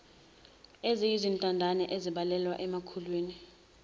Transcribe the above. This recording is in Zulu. eziyizintandane ezibalelwa emakhulwini